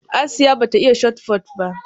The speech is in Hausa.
Asiya ba ta iya Shotput ba